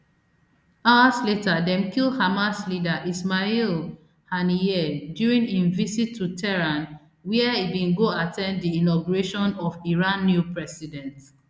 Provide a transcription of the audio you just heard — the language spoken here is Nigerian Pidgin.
hours later dem kill hamas leader ismail haniyeh during im visit to tehran wia e bin go at ten d di inauguration of iran new president